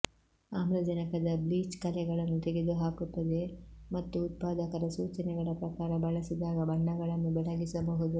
ಆಮ್ಲಜನಕದ ಬ್ಲೀಚ್ ಕಲೆಗಳನ್ನು ತೆಗೆದುಹಾಕುತ್ತದೆ ಮತ್ತು ಉತ್ಪಾದಕರ ಸೂಚನೆಗಳ ಪ್ರಕಾರ ಬಳಸಿದಾಗ ಬಣ್ಣಗಳನ್ನು ಬೆಳಗಿಸಬಹುದು